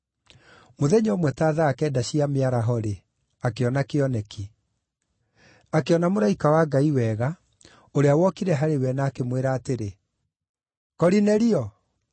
Mũthenya ũmwe ta thaa kenda cia mĩaraho-rĩ, akĩona kĩoneki. Akĩona mũraika wa Ngai wega, ũrĩa wokire harĩ we na akĩmwĩra atĩrĩ, “Korinelio!”